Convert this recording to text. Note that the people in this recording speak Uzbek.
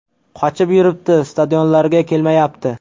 Qochib yuribdi, stadionlarga kelmayapti.